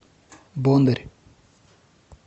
бондарь